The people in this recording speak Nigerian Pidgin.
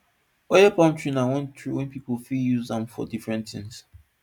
oil palm tree na one tree wey pipo fit wey pipo fit use am for different things